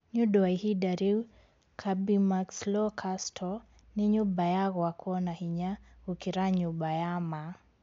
Nĩ ũndũ wa ihinda rĩu, Kirby Muxloe Castle nĩ nyũmba ya gwakwo na hinya gũkĩra nyũmba ya ma.